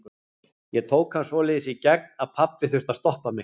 Ég tók hann svoleiðis í gegn að pabbi þurfti að stoppa mig.